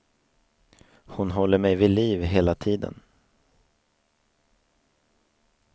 Hon håller mig vid liv hela tiden.